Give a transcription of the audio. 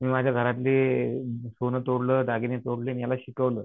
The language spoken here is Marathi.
मी माझ्या घरातले सोनं तोडलं दागिने तोडले आणि याला शिकवलं.